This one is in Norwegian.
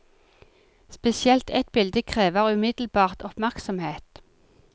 Spesielt ett bilde krever umiddelbart oppmerksomhet.